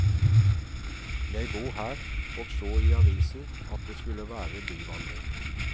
Jeg bor her, og så i avisen at det skulle være byvandring.